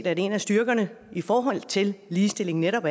er en af styrkerne i forhold til ligestillingen netop